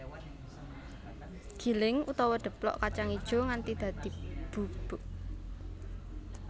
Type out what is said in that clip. Giling utawa deplok kacang ijo nganti dadi bubuk